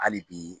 Hali bi